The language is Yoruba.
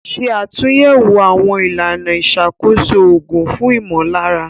Ṣe àtúnyẹ̀wò àwọn ìlànà ìṣàkóso òògùn fún ìmọ̀lára.